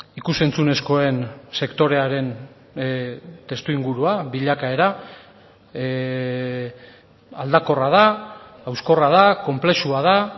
ikus entzunezkoen sektorearen testuingurua bilakaera aldakorra da hauskorra da konplexua da